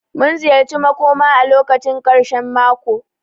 Mun ziyarci makõma a lokacin karshen mako.